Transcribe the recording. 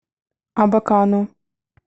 абакану